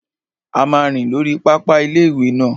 A máa rìn lórí pápá ilé-ìwé náà